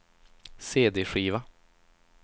cd-skiva